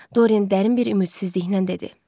Doryan dərin bir ümidsizliklə dedi.